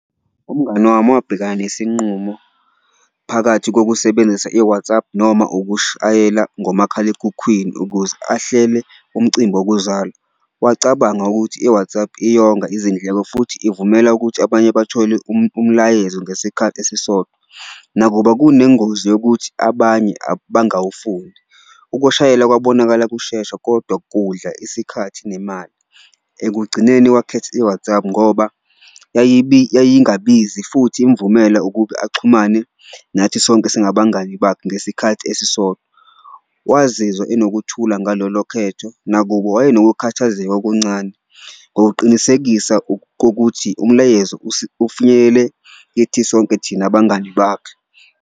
Umngani wami wabhekana nesinqumo phakathi kokusebenzisa i-WhatsApp noma ukushayela ngomakhalekhukhwini ukuze ahlele umcimbi wokuzalwa, wacabanga ukuthi i-WhatsApp iyonga izindleko futhi ivumela ukuthi abanye bathole umlayezo ngesikhathi esisodwa. Nakuba kunengozi yokuthi abanye bangawufundi, ukushayela kwabonakala kushesha kodwa kudla isikhathi nemali. Ekugcineni wakhetha i-WhatsApp ngoba yayingabizi futhi imvumela ukube axhumane nathi sonke singabangani bakhe ngesikhathi esisodwa. Wazizwa enokuthula ngalolo khetho nakubo wayenokukhathazeka okuncane ngokuqinisekisa kokuthi umlayezo ufinyelele kithi sonke thina bangani bakhe.